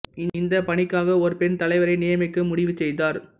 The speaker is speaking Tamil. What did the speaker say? இந்த பணிக்காக ஒரு பெண் தலைவரை நியமிக்க முடிவு செய்தார்